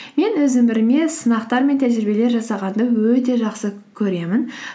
мен өз өміріме сынақтар мен тәжірибелер жасағанды өте жақсы көремін